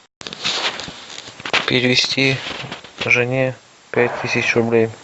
перевести жене пять тысяч рублей